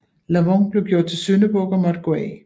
Lavon blev gjort til syndebuk og måtte gå af